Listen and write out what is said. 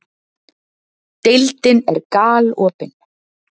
Deildin er galopin